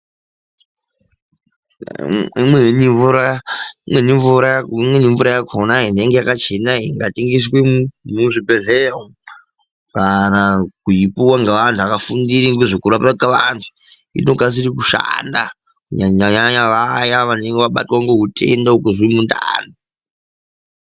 Imweni mvura, imweni mvura yakhona inenge yakachena ingatengeswe mwo muzvibhedhleya umu, kana kuipuwa ngovandhu vakafundira ngozvekurapwa kevandhu, inokasire kushanda kunyanyanyanya vaya vanenge vabatwa ngeutenda wekuzwe mundani.